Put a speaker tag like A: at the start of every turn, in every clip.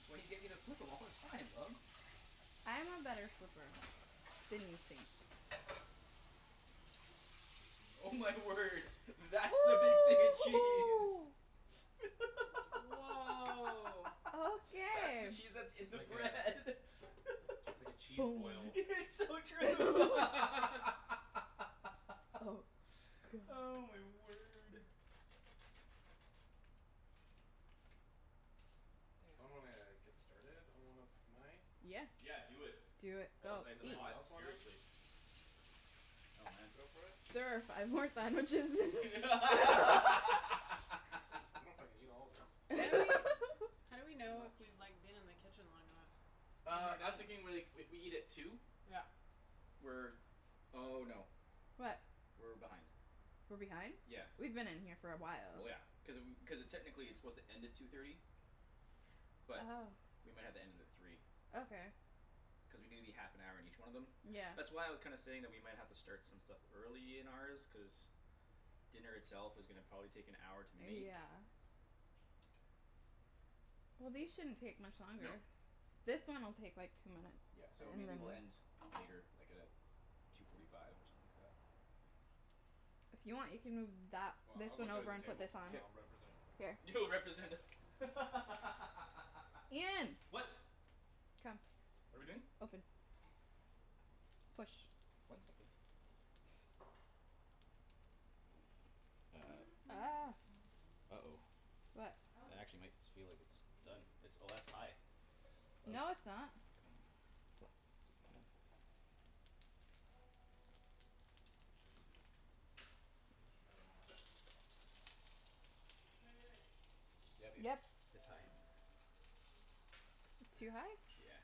A: That's why you get me to flip 'em all the time, love.
B: I am a better flipper Than you think.
A: Oh my word. That's the big thing of cheese.
C: Woah
A: That's the
B: Okay
A: cheese that's in
D: It's
A: the
D: like a
A: bread.
D: It's like a cheese
B: Boom
D: boil.
A: It's so true
B: Oh
A: Oh
B: god.
A: my word.
D: So I'm
C: There
D: gonna get started on one of my
B: Yeah
A: Yeah do it.
B: Do it.
A: While
B: Go.
A: it's nice
D: Does
A: and
B: Eat.
D: anyone
A: hot,
D: else wanna?
A: seriously. Oh man.
D: Go for it?
B: There are five more sandwiches.
D: I dunno if I can eat all of this.
C: How do we how do we
D: It's too
C: know if
D: much
C: we've like been in the kitchen long enough?
A: Uh I was thinking more like if we eat at two
C: Yeah
A: We're oh no
B: What?
A: We're behind.
B: We're behind?
A: Yeah.
B: We've been in here for a while.
A: Well yeah. Cuz cuz uh technically it's supposed to end at two thirty. But
B: Oh
A: we might have to end it at three.
B: Okay
A: Cuz we need to be half an hour in each one of them.
B: Yeah
A: That's why I was kinda saying that we might have to start some stuff early in ours cuz Dinner itself is probably gonna take an hour to make.
B: Yeah Well these shouldn't take much
A: No.
B: longer. This one will take like two minutes.
A: Yeah so
B: And
A: maybe
B: then
A: we'll end later like at uh two forty five or something like that.
B: If you want you can move that
D: Well
B: this
D: I'll go
B: one
D: sit at
B: over
D: the
B: and put
D: table
B: this on
D: and I'll
A: K.
D: represent
B: Here
A: You'll represent the
B: Ian
A: What?
B: Come.
A: What're we doing?
B: Open. Push
A: One second. Uh Uh oh.
B: What?
A: That
C: How is it?
A: actually might s- feel like it's done.
D: Amazing.
A: Oh that's high.
B: No it's not
D: This is good. Feel I should try them all eh?
C: Wai- wai- wait
A: Yeah babe,
B: Yep
A: it's high.
B: Too high?
A: Yeah.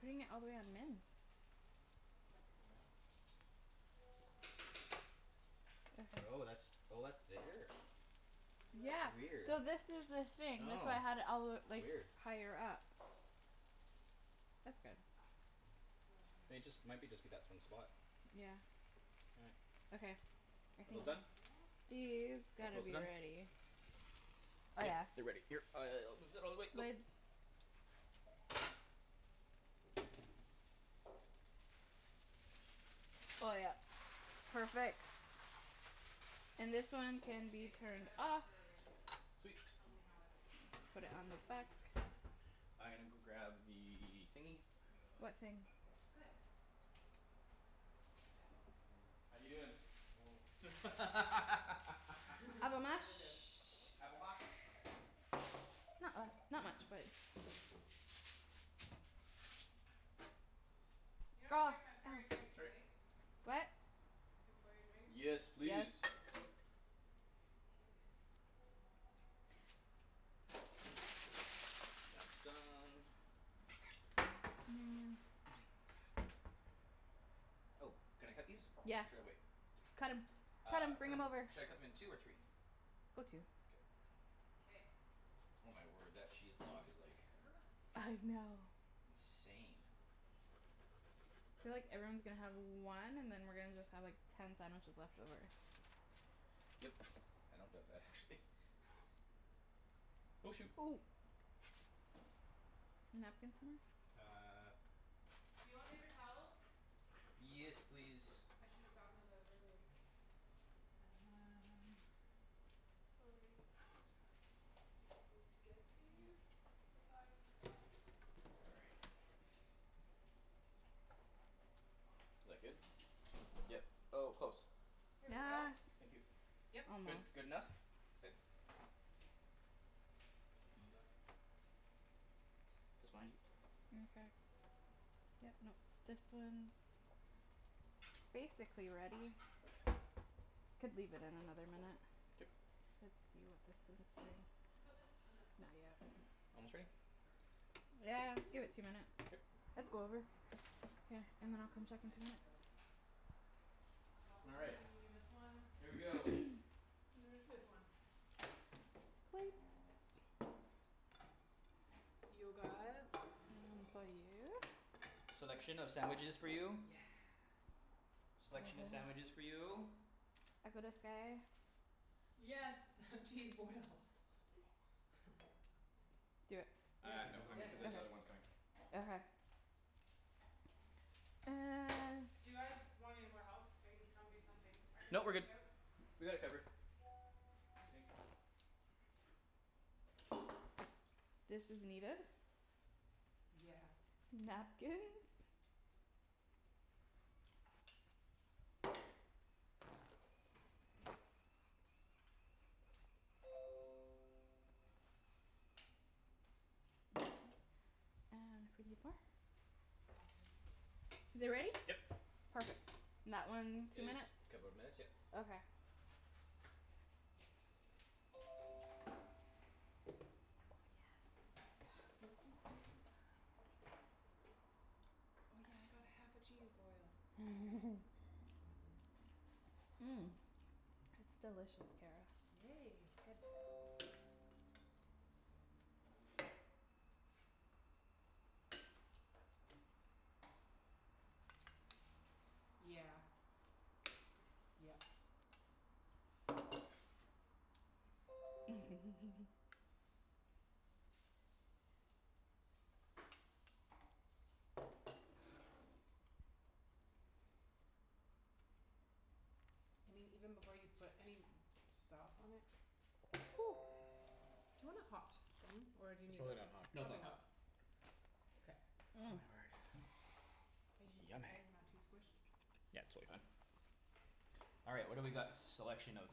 B: Putting it all the way
D: What's
B: on
D: this?
B: min.
C: Truffle
D: Truffle
C: mayo
D: mayo?
A: Oh
B: Okay
A: that's oh that's there.
C: Would you like
B: Yeah
C: some of
A: Weird
C: this?
B: so this is the thing that's
D: Sure
B: why I had it all the w-
A: Oh
B: like
A: weird.
B: higher up That's good.
C: Oh hang on
A: I mean
C: one
A: it just it
C: second.
A: might be just be that one spot
B: Yeah Okay I think
A: Almost done?
B: These
A: All
B: gotta
A: close
B: be
A: to done?
B: ready. Oh yeah.
A: They're ready uh all the way, go.
B: Lid Oh yep. Perfect. And this one can be
C: K
B: turned
C: try that
B: off.
C: for a ratio.
A: Sweet
C: Tell me how it is. It
B: Put it
C: might be
B: on the
C: too
B: back
C: weak.
A: I gonna go grab the thingy
D: I really like
B: What
D: it.
B: thing?
D: It's
C: Good.
D: perfect.
C: Okay.
A: How you doin'?
B: Avo
C: Oh
B: mash.
C: good
A: Avo mash.
B: Not uh not much but
C: You don't care if I pour your drinks
A: Sorry.
C: right?
B: What?
C: I can pour your drinks?
A: Yes
B: Yes
A: please.
C: Okay
A: That's done. Oh can I cut these?
B: Yeah
A: Should I wait?
B: cut 'em cut 'em
A: Uh cut
B: bring 'em
A: 'em
B: over.
A: should I cut 'em in two or three?
B: Go two
A: K
C: K
A: Oh my word that cheese block is like
C: There
B: I know
C: How much
A: Insane.
C: did I put in it?
B: Feel like everyone's gonna have one and then we're just gonna have like ten sandwiches left over.
A: Yep. I don't doubt that actually Oh shoot.
B: Napkin somewhere?
A: Uh
C: Do you want paper towels?
A: Yes please.
C: I should've gotten those out earlier. Um Sorry Just need to get these cuz I forgot before.
A: Is
C: Awesome
A: that good? Yep. Oh close.
C: Here we go.
B: Yeah
A: Thank you.
C: Yep.
A: Good.
B: Almost
A: Good enough? Good?
C: Okay, let's just sample this here.
A: Just behind you.
B: Okay Yep nope this one's Basically ready. Could leave it in another minute.
A: K
B: Let's see what this one's doing.
C: Should put this in the
B: Not yet.
C: back
A: Almost
C: here.
A: ready?
D: Sure
B: Yeah give it two minutes.
A: K
B: Let's go over.
C: We have a problem.
B: K
C: I
B: and
C: don't
B: then I'll
C: remember
B: come
C: which
B: check
C: one
B: in
C: I
B: two
C: drank
B: minutes.
C: out of.
A: All right,
C: Probably this one.
A: here we
C: Wait.
A: go.
C: This one.
B: Plates
C: You guys
B: One for you
A: Selection of sandwiches for you.
C: Yes
A: Selection of sandwiches for you.
B: I got us guy
C: Yes cheese boil.
B: Do it.
C: Yeah
A: Uh
D: Think
A: no
D: we got
A: I'm
C: yeah
D: it.
A: cuz
C: yeah
A: there's other ones coming.
B: Okay okay. And
C: Do you guys want any more help? I can come do something. I can
A: No we're
C: switch
A: good.
C: out
A: We got it covered. I think.
B: This is needed.
C: Yeah
B: Napkins.
C: Sorry
B: And
C: Awesome
B: Is it ready?
A: Yep.
B: Perfect. That one,
A: It
B: two
A: just
B: minutes?
A: couple of minutes yeah.
B: Okay Yes
C: Yes Oh yeah I got half a cheese boil. That's awesome.
B: It's delicious, Kara.
C: Yay good Yeah Yep I mean even before you put any sauce on it Do you wanna hot thing? Or do you
D: It's
C: need
D: really not hot.
A: No it's not
C: probably
A: hot.
C: not K
A: Oh my word
C: Are you
A: yummy
C: okay? Not too squished?
A: Yeah totally fine. All right, what do we got selection of?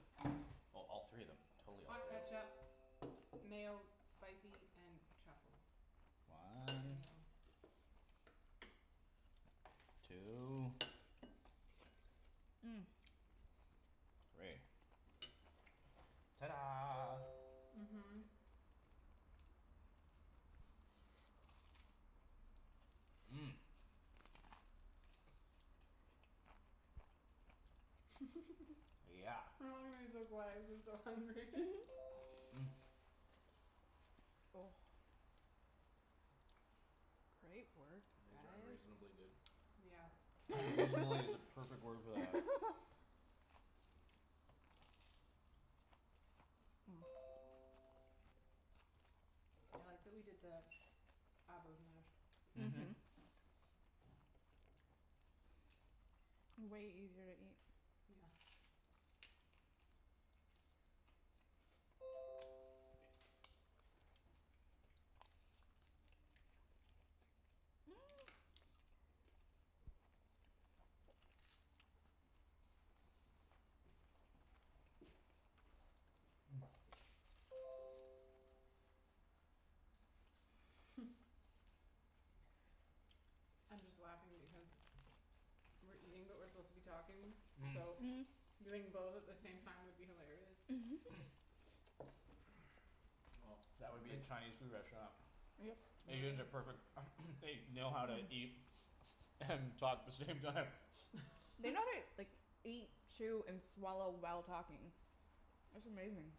A: Oh totally all three of them. Totally all
C: Hot
A: three.
C: ketchup, mayo, spicy, and truffle.
A: One.
C: Mayo
A: Two. Three. Ta da
B: Mhm
C: Mhm
A: Yeah
C: We're all gonna be so quiet cuz we're so hungry
D: These are unreasonably good.
C: Yeah
A: "Unreasonably" is the perfect word for that.
C: I like that we did the avos mashed
A: Mhm.
B: Mhm Way easier to eat.
C: Yeah I'm just laughing because We're eating but we're supposed to be talking so Doing both at the same time would be hilarious
A: Well that would be a Chinese food restaurant.
B: Yep
C: Really?
A: Asians are perfect they know how to eat And talk the same time.
B: They know how to like eat chew and swallow while talking. That's amazing.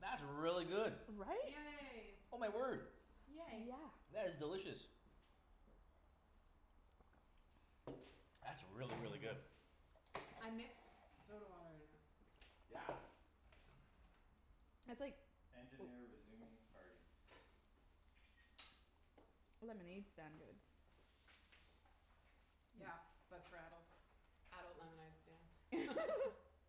A: That's really good.
B: Right?
C: Yay
A: Oh my word,
C: Yay
B: Yeah
A: that's delicious. That's really really good.
C: I mixed soda water in it.
A: Yeah.
B: That's like Lemonade stand good
C: Yeah. But for adults. Adult lemonade stand.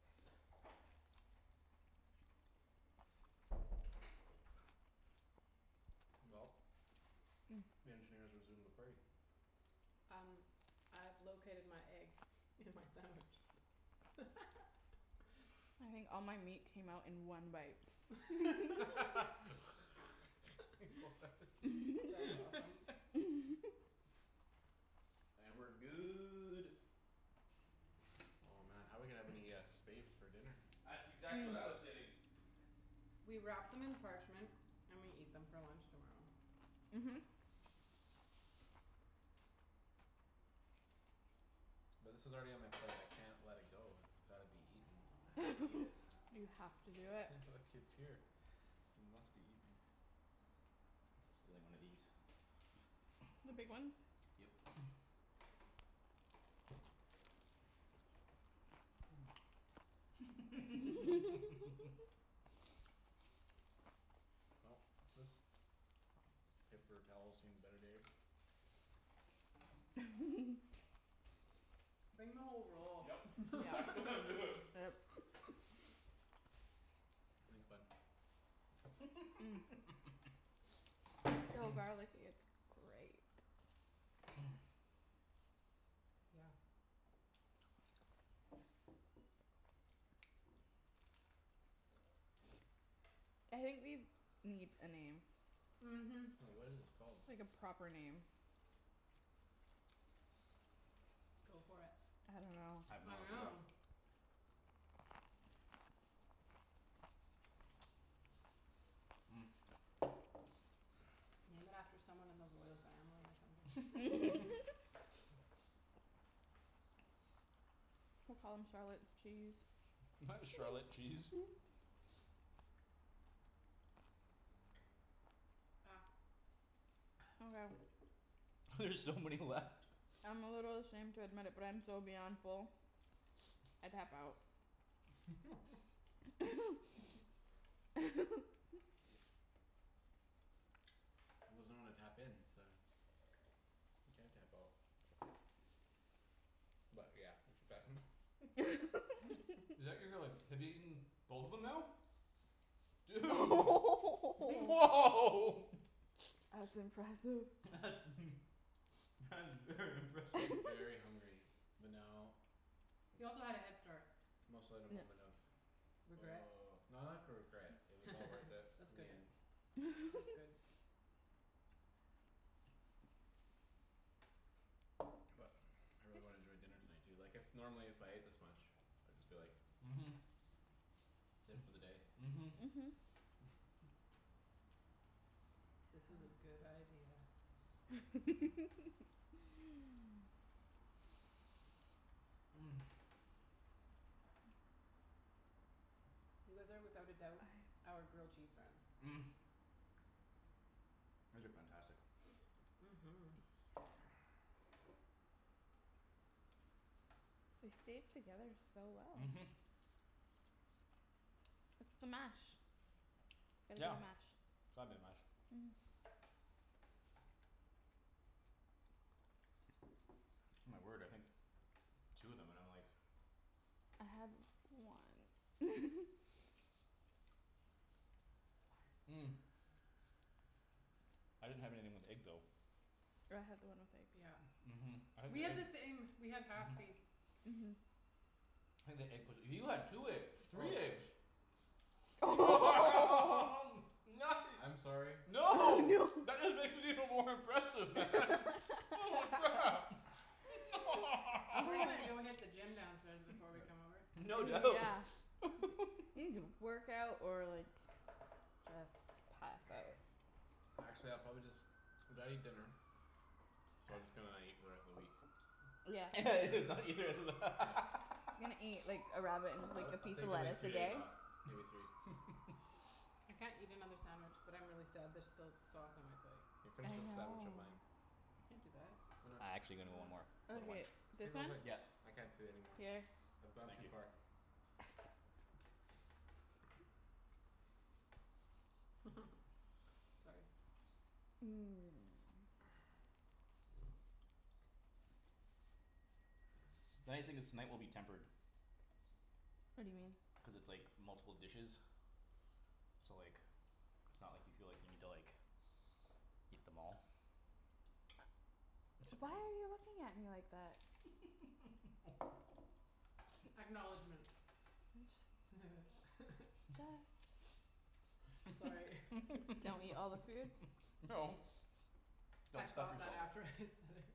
D: Well, the engineer's resumed the party.
C: Um I've located my egg in my sandwich.
B: I think all my meat came out in one bite.
C: That's awesome.
A: And we're good.
D: Oh man how we gonna have any uh space for dinner?
A: That's exactly what I was saying.
C: We wrap them in parchment and we eat them for lunch tomorrow.
B: Mhm
D: But this is already on my plate I can't let it go it's gotta be eaten. I have to eat it.
B: You have to do it.
D: Look it's here. It must be eaten.
A: Stealing one of these.
B: The big ones?
A: Yep
D: Well this paper towel's seen better days.
C: Bring the whole roll.
A: Yup,
B: Yeah.
A: it's exactly what I'm doing.
B: Yep.
D: Thanks bud
B: So garlicky it's great
C: Yeah
B: I think these need a name
C: Mhm
D: What is this called?
B: Like a proper name.
C: Go for it.
B: I dunno
A: I have no
C: I
A: idea.
C: know. Name it after someone in the royal family or something
B: We'll call 'em Charlotte's cheese.
A: Why Charlotte cheese?
C: Ah
B: Okay
A: There's so many left
B: I'm a little ashamed to admit it but I am so beyond full I tap out.
D: He doesn't wanna tap in so You can't tap out. But yeah, we should pack 'em up
A: Is that you're you're like have you eaten both of them now? Dude woah
B: That's impressive.
A: That's that's very impressive.
D: Very hungry, but now
C: He also had a head start.
D: Must let a moment of
C: Regret?
D: no not for regret. It was all worth it
C: That's
D: in the
C: good.
D: end.
C: That's good.
D: But I really wanna enjoy dinner tonight. Du- like if normally if I ate this much I'd just be like
A: Mhm.
D: That's it for the day.
A: Mhm.
B: Mhm
C: This was a good idea. You guys are without a doubt
B: Aye
C: our grilled cheese friends.
A: These are fantastic.
C: Mhm
B: Yeah They stayed together so well.
A: Mhm.
B: It's the mash. It's gotta be
A: Yeah.
B: the mash.
A: It's gotta be the mash. My word I think two of 'em and I'm like.
B: I had one
A: I didn't have anything with egg though.
B: Oh I had the one with egg.
C: Yeah
A: Mhm I had
C: We
A: the
C: have
A: egg
C: the same. We have
A: mhm
C: halfsies.
B: Mhm
A: I think the egg 'pposed to you had two egg three
D: Stolen.
A: eggs.
D: I'm
A: Nice.
D: sorry.
B: Oh
A: No.
B: no
A: That is even more impressive man. Holy crap.
C: So we're gonna go hit the gym downstairs before we come
D: Yeah
C: over.
A: No
B: Dude
A: doubt.
B: yeah You need to work out or like just pass out.
D: Actually I'll probably just gotta eat dinner So I just gonna not eat for the rest of the week.
B: Yeah
A: just not eat the rest of the
D: Yeah
B: He's gonna eat like a rabbit and just like
D: I'll
B: a
D: like I'll
B: piece
D: take
B: of
D: at least
B: lettuce
D: two
B: a
D: days
B: day.
D: off. Maybe three.
C: I can't eat another sandwich but I'm really sad there's still sauce on my plate.
D: Yo
B: I
D: finish with
B: know
D: sandwich of mine.
C: I can do that.
D: Why
A: I
D: not?
A: actually gonna one more. For the one.
B: Okay,
D: Take
B: this
D: a
B: one?
D: whole thing.
A: Yeah.
D: I can't do anymore.
B: Here
D: I've gone
A: Thank
D: too
A: you.
D: far.
C: Sorry.
A: Nice thing is tonight will be tempered.
B: What do you mean?
A: Cuz it's like multiple dishes. So like it's not like you feel like you need to like Eat them all. Except
B: Why
A: you.
B: are you looking at me like that?
C: Acknowledgment
B: I'm just Just
C: Sorry
B: Don't eat all the food
A: No
C: I
A: Don't stop
C: thought that
A: yourself.
C: after I said it.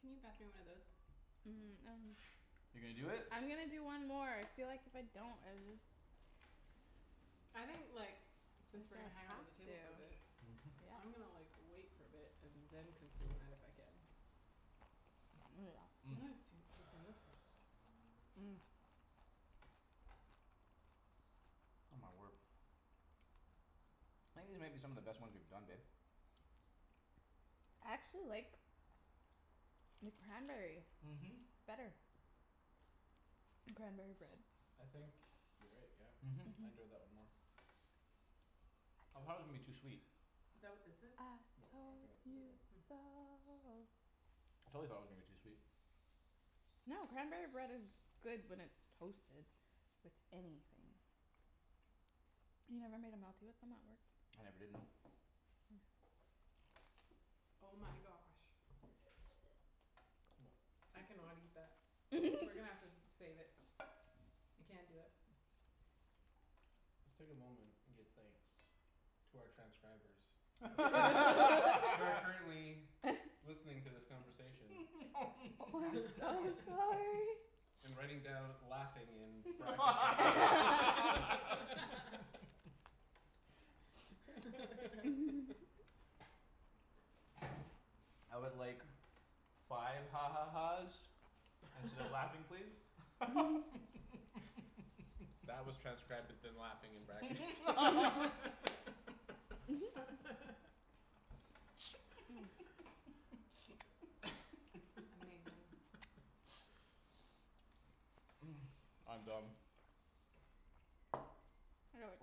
C: Can you pass me one of those?
B: Um I'm
A: You're gonna do it?
B: I'm gonna do one more. I feel like if I don't I would just
C: I think like since we're gonna
B: That
C: hang out at the
B: I
C: table for a
B: have
C: bit
B: to
C: I'm gonna
B: Yeah
C: like wait for a bit and then consume that if I can. But I'm gonna still consume this first.
A: Oh my word. I think these might be some of the best ones we've done, babe.
B: I actually like the cranberry
A: Mhm.
B: better. Cranberry bread
D: I think you're right yeah.
A: Mhm
D: I enjoyed that one
B: Mhm.
D: more.
A: I thought it was gonna be too sweet.
C: Is that what this is?
B: I
D: No, I don't
B: told
D: think that's the big
B: you
D: one.
B: so
A: I totally thought it was gonna be too sweet.
B: No cranberry bread is good when it's toasted with anything. You never made a melty with them at work?
A: I never did, no.
C: Oh my gosh I cannot eat that. We're gonna have to save it. I can't do it.
D: Just take a moment and give thanks to our transcribers Who are current who are currently Listening to this conversation.
B: Oh I'm so sorry.
D: And writing down "laughing" in brackets and Ian
A: I would like five ha ha ha's Instead of "laughing" please.
D: That was transcribed with the "laughing" in brackets.
C: Amazing.
A: I'm done.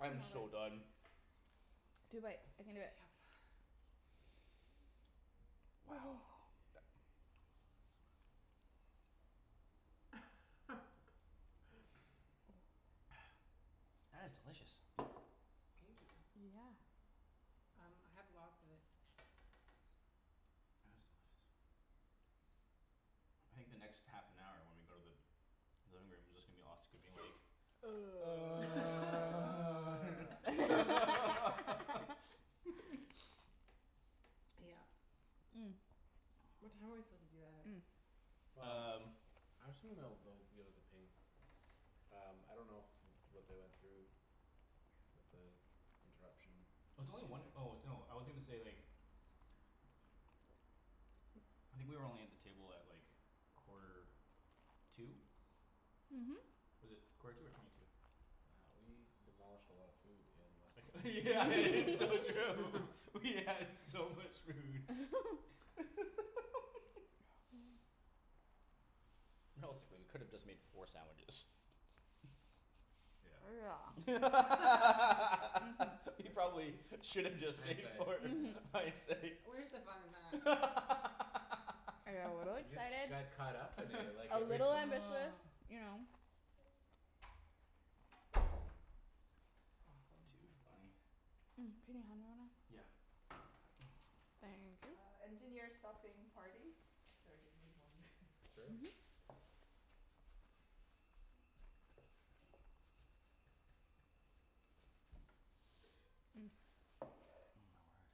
B: I can do it. Two more
A: so done.
B: bites. Two bites, I can do it.
C: Yep
A: Wow. That is delicious.
C: Thank you.
B: Yeah
C: Um I have lots of it.
A: That is delicious. I think the next half an hour when we go to the living room is just gonna be us gonna be like
C: Yeah What time are we supposed to do that at?
A: Um
D: Well I actually dunno if they'll give us a ping. Um I don't know if what they went through With the interruption In
A: It's only one
D: there.
A: oh no I was gonna say like I think we were only at the table at like quarter to
B: Mhm
A: Was it quarter to or twenty to?
D: Wow we demolished a lot of food in less than
A: It's so true. We had so much food Realistically we could've just made four sandwiches.
D: Yeah
B: Yeah
A: We
B: Mhm
A: probably should've just
D: Hindsight
A: made four
D: yeah
B: Mhm
A: hindsight.
C: Where's the fun in that?
B: I got a little
D: We just
B: excited.
D: got caught up in it like
B: A
D: everything
B: little ambitious, you know.
C: Awesome.
A: Too funny.
B: Can you me hand one o'
A: Yeah.
B: Thank you.
A: my word.